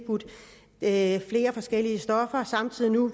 at